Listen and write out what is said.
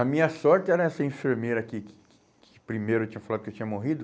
A minha sorte era essa enfermeira aqui que que que primeiro eu tinha falado que eu tinha morrido.